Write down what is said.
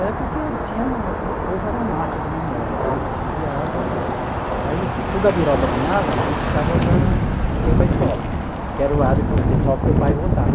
É porque já tinha o povo era massa de manobra, então eles criava... Aí assim, se o Gabiroba ganhava, a gente ficava para... a gente ia para escola, que era o lado que o pessoal que meu pai votava.